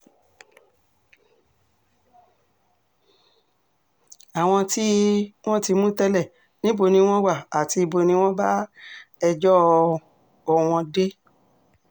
àwọn tí um wọ́n ti mú tẹ́lẹ̀ níbo ni wọ́n wà àti ibo ni wọ́n bá ẹjọ́ um wọn dé